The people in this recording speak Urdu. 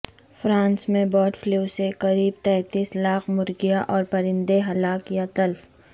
فرانس میں برڈ فلو سے قریب تینتیس لاکھ مرغیاں اور پرندے ہلاک یا تلف